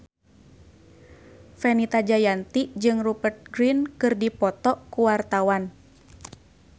Fenita Jayanti jeung Rupert Grin keur dipoto ku wartawan